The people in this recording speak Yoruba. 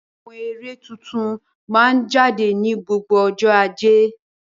Àwọn eré tuntun máa ń jáde ní gbogbo ọjọ́ Ajé.